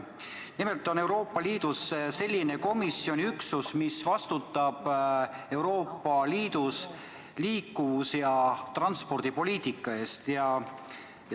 Nimelt on Euroopa Liidus komisjoni üksus, mis vastutab Euroopa Liidus liiklus- ja transpordipoliitika eest.